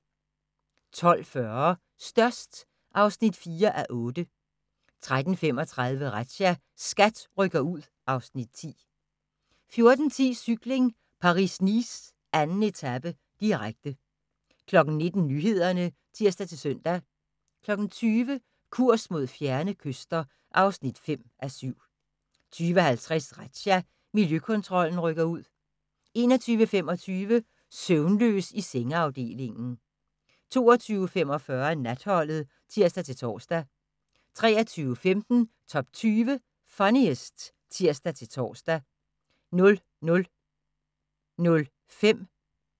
12:40: Størst (4:8) 13:35: Razzia – SKAT rykker ud (Afs. 10) 14:10: Cykling: Paris-Nice - 2. etape, direkte 19:00: Nyhederne (tir-søn) 20:00: Kurs mod fjerne kyster (5:7) 20:50: Razzia – Miljøkontrollen rykker ud 21:25: Søvnløs i sengeafdelingen 22:45: Natholdet (tir-tor) 23:15: Top 20 Funniest (tir-tor) 00:05: Grænsepatruljen (tir-tor)